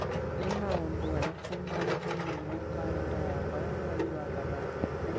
Nĩ maũndũ marĩkũ marĩ thĩinĩ wa kalendarĩ yakwa ya mweri wa gatatũ